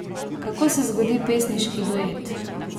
Kako se zgodi pesniški duet?